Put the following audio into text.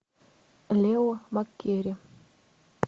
лео маккери